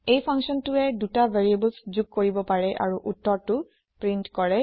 এই functionটোৱে ২টা ভেৰিয়েবলছ যোগ কৰিব পাৰে আৰু উত্তৰটো প্ৰীন্ট কৰে